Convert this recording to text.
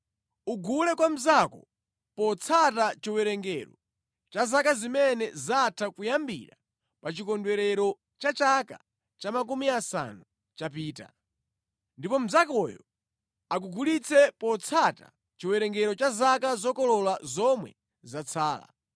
Ugule kwa mnzako potsata chiwerengero cha zaka zimene zatha kuyambira pa chikondwerero cha chaka cha makumi asanu chapita. Ndipo mnzakoyo akugulitse potsata chiwerengero cha zaka zokolola zomwe zatsala.